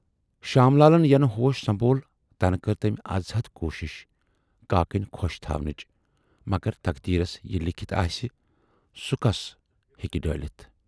شام لالن یَنہٕ ہوش سنبھول تنہٕ کٔر تمٔۍ ازحد کوٗشِش کاکٕنۍ خۅش تھاونٕچ، مگر تقدیٖرس یہِ لیٖکھِتھ آسہِ سُہ کُس ہیکہِ ڈٲلِتھ۔